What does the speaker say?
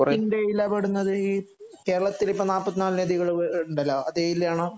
അതില് കേരളത്തിന്റെ എതിലപ്പെടുന്നത് കേരളത്തില് എപ്പോൾ നാല്പത്തിനാല് നദി കൾ ഉണ്ടല്ലോ അത് എതിലാണ്